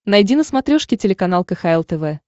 найди на смотрешке телеканал кхл тв